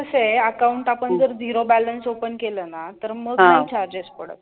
कसय account आपण जर zero balance open केल ना तर मग पण charges पडतात.